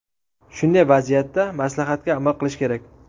Shunday vaziyatda maslahatga amal qilish kerak.